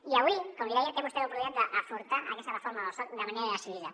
i avui com li deia té vostè l’oportunitat d’afrontar aquesta reforma del soc de manera decidida